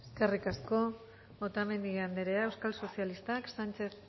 eskerrik asko otamendi anderea euskal sozialistak sánchez